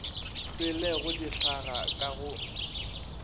hlwelego di hlaga ka go